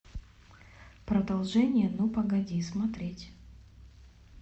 продолжение ну погоди смотреть